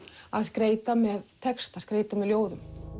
að skreyta með texta skreyta með ljóðum